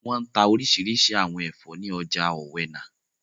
Wọ́n n ta orísirísi àwọn ẹ̀fọ́ ní ọjà ọ̀wẹnà